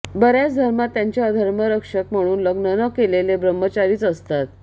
बय्राच धर्मांत त्यांचे धर्मरक्षक म्हणू लग्न न केलेले ब्रम्हचारीच असतात